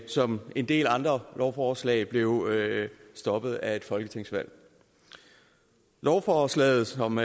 som en del andre lovforslag blev stoppet af et folketingsvalg lovforslaget som